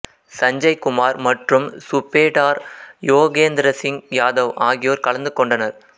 சஞ்சய் குமார் மற்றும் சுபேடார் யோகேந்திர சிங் யாதவ் ஆகியோர் கலந்து கொண்டனர்